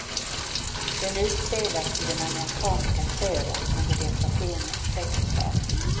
Den utspelas i den amerikanska södern under depressionens tretttiotal.